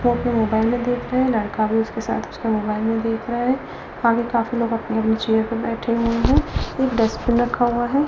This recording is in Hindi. सब कोई मोबाइल देख रहे हैं लड़का भी उसके साथ उसका मोबाइल में देख रहा है आगे काफी लोग अपनी-अपने चेयर पे बैठे हुए हैं एक डस्टबिन हुआ है ।